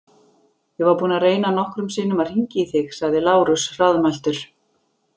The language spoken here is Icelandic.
Ég var búinn að reyna nokkrum sinnum að hringja í þig, sagði Lárus hraðmæltur.